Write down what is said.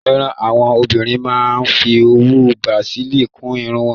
Nígbà míràn, àwọn obìnrin a máa ń fí owú Bràsílí kún ìrún wọn.